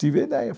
Tive a ideia.